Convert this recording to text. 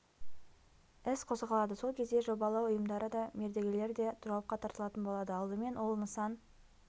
іс қозғалады сол кезде жобалау ұйымдары да мердігерлер де жауапқа тартылатын болады алдымен ол нысан